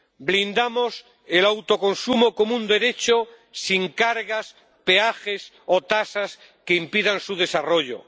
Blindamos el autoconsumo como un derecho sin cargas, peajes o tasas que impidan su desarrollo.